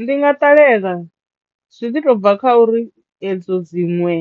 Ndi nga ṱalela zwi ḓi to u bva kha uri edzo dziṅwe